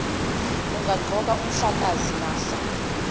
angaqoka umhlakazi mafa